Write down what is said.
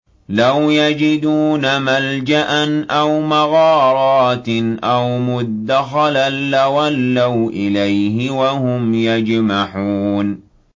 لَوْ يَجِدُونَ مَلْجَأً أَوْ مَغَارَاتٍ أَوْ مُدَّخَلًا لَّوَلَّوْا إِلَيْهِ وَهُمْ يَجْمَحُونَ